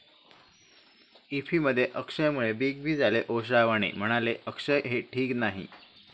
इफ्फीमध्ये अक्षयमुळे Big B झाले ओशाळवाणे, म्हणाले, अक्षय हे ठीक नाही!